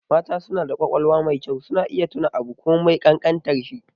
Mata suna da ƙwaƙwalwa mai kyau, suna iya tuna abu komai ƙanƙantar shi.